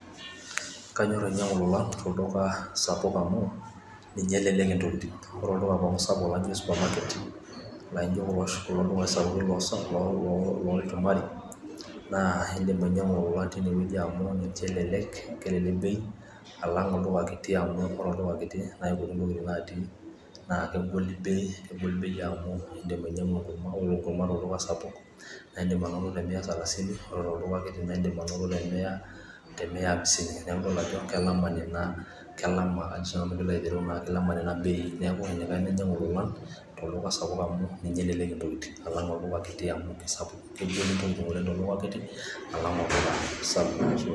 Kanyorr ainyang'u ilolan tolduka sapuk amuu , ninye elelek intokitin, ore olduka pookin sapuk laijo supermarket , laijo kulo dukai sapuki loo loo ilshumari naa idim ainyang'u ilolan tine wueji amuu ninche elelek, kelelek bei alang olduka kiti amu ore olduka kiti na kuti ntokitin natii naa kegoli bei, egol beii amuu idim ainyang'u ekurma, ore ekurma tolduka sapuk naa idim anoto te mia salasini, ore tolduka kiti naa idim anoto te mia te mia hamisini neeku idol ajo kelama nena, kelama aajo naa si nanu piilo aitereu ina bei neeku enaikash nainyang'u intokitin tolduka sapuk amuu ninye elelek intokitin alang olduka kiti amu kisapuk, kegoli intokitin tolduka kiti alang olduka sapuk.